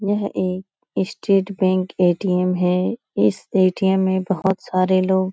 यह एक state bank ATM. है । इस ए.टी.एम. में बहुत सारे लोग --